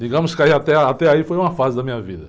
Digamos que aí, até, até aí foi uma fase da minha vida.